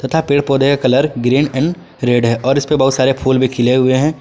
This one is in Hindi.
तथा पेड़ पौधे का कलर ग्रीन एंड रेड है और इसपे बहुत सारे फूल भी खिले हुए हैं।